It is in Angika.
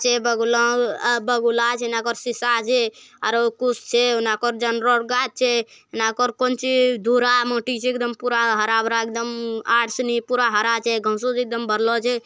बगुला छे गाछ छे एकदम हरा-भरा एकदम --